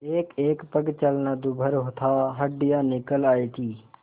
एकएक पग चलना दूभर था हड्डियाँ निकल आयी थीं